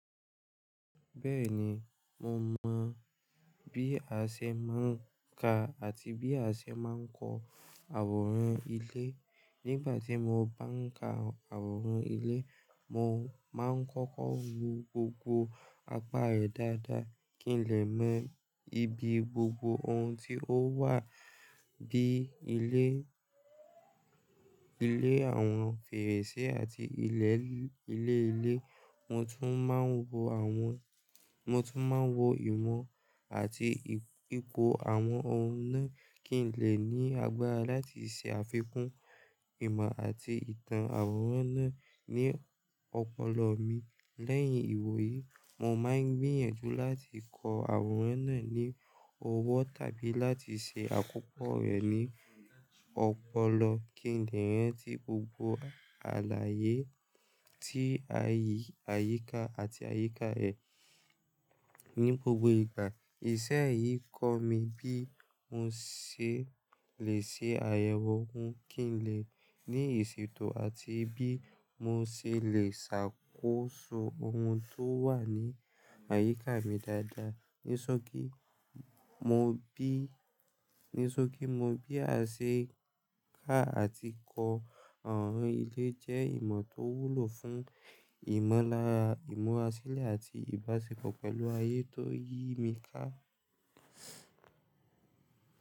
Bẹ́ẹ̀ni, mo mọ bí a ṣe máa ń ka àti bí a ṣe máa ń kọ àwòrán ilé. Nígbà tí mo bá ń ka àwòrán ilé, mo máa ń kọ́kọ́ wo gbogbo apá rẹ̀ dáadáa kí n lè mọ ibi gbogbo ohun tí ó wà bíi ilé, ilé àwọn fèrèsé àti ilẹ̀ ilé ilé. Mo tún máa ń wo àwọn, mo tún máa ń wo ìmọ̀ àti ipò àwọn ohun náà kí n lè ní agbára láti ṣe àfikún ìmọ̀ àti ìtàn àwòrán náà ní ọpọlọ mi. Lẹ́yìn ìwò yí, mo máa ń gbìyànjú láti kọ àwòrán náà ní ọwọ́ tàbí láti ṣe àkópọ̀ rẹ̀ ní ọpọlọ kí n lè rántí gbogbo àlàyé tí àyíká àti àyíká ẹ̀ ní gbogbo ìgbà. Iṣẹ́ yìí kọ́ mi bí mo ṣe lè ṣe àyẹ̀wò ohun kí n lè ní ìsètò àti bí mo ṣe lè ṣàkóso ohun tó wà ní àyíká mi dáadáa. Nisọ́kí, mo bí, nisọ́kí mo bí a ṣe ka àti kọ àwòrán ilé jẹ́ ìmọ̀ tó wúlò fún ìmọ̀lára ìmuràsílẹ̀ àti ìbáṣepọ̀ pẹ̀lú ayé tó yí mi ká.